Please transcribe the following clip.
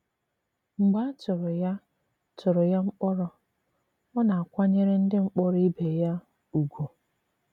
Mgbe a tụrụ ya tụrụ ya mkpòrọ, ọ na-àkwànyèrè ndị mkpòrọ ìbè ya ùgwù.